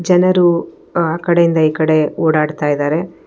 ಜನರು ಆ ಕಡೆಯಿಂದ ಈ ಕಡೆ ಓಡಾಡ್ತಾಯಿದಾರೆ.